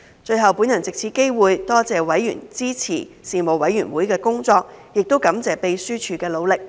最後，我藉此機會多謝委員支持事務委員會的工作，亦感謝秘書處的努力。